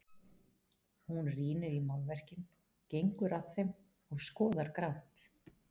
Hún rýnir í málverkin, gengur að þeim og skoðar grannt.